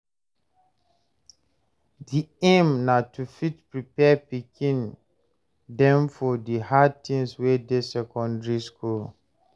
The aim na to fit prepare pikin dem for di hard things wey dey secondary school.